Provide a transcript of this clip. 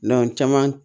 caman